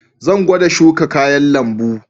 Zan gwada shuka kayan lambu.